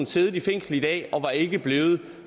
siddet i fængsel i dag og var ikke blevet